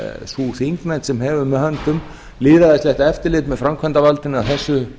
sú þingnefnd sem hefur með höndum lýðræðislegt eftirlit með framkvæmdarvaldinu að þessu